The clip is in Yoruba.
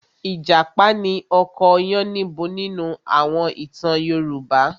Ìjàpá ni ọkọ Yánníbo nínú àwọn ìtàn Yorùbá.